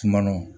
Sumano